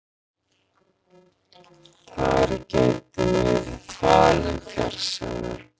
Þar gæti verið falinn fjársjóður